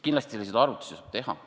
Kindlasti selliseid arvutusi saab teha.